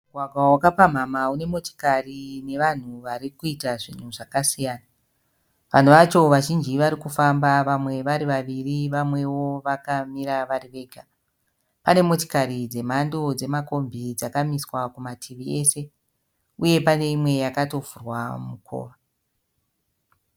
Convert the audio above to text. Mugwagwa wakapamhamha une motokari nevanhu varikuita zvakasiyana. Vanhu vacho vazhinji varikufamba vamwe varivaviri vamwewo vakamira vari vega. Pane motokari dzemhando dzemakombi dzakamiswa kumativi ese uye pane imwe yakatovhura mukova